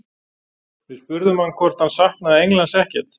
Við spurðum hann hvort hann saknaði Englands ekkert?